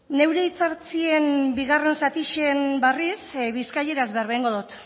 neure hitzartzen bigarren zatixen barriz bizkaieraz berba eingo dot